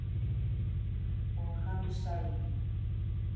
Og hann sagði.